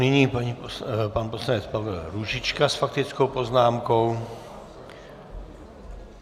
Nyní pan poslanec Pavel Růžička s faktickou poznámkou.